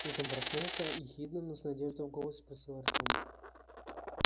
тут он проснулся ехидно но с надеждой в голосе спросил артём